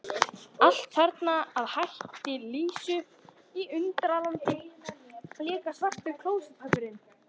Allt þarna að hætti Lísu í Undralandi, líka svartur klósettpappírinn.